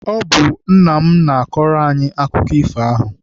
Ọ bụ nna m na-akọrọ anyị akụkọ ifo ahụ.